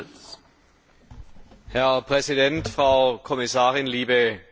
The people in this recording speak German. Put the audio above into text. Herr Präsident, Frau Kommissarin, liebe Kolleginnen und Kollegen!